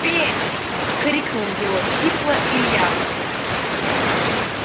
петь крикнул его сипло илья